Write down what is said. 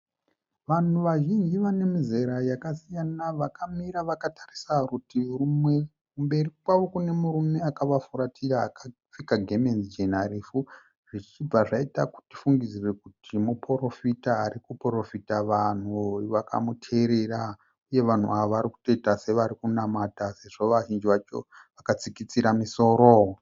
Vanhu vazhinji vane mizera yakasiyana vakamira vakatarisa kurutivi rumwe. Kumberi kwavo kune murume akavafuratira akapfeka gemenzi jena refu zvichibva zvaita kuti tifungudzire kuti muporofita ari kuporofita vanhu vakamuteerera, uye vanhu ava vari kutoita sevari kunamata sezvo vazhinji vacho vakatsikitsira misoro.